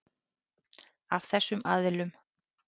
Af þessum aðilum.